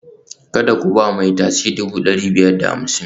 Kada ku ba mai tasi dubu ɗari biyar da hamsin